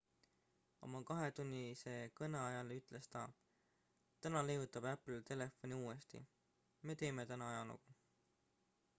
oma kahetunnise kõne ajal ütles ta täna leiutab apple telefoni uuesti me teeme täna ajalugu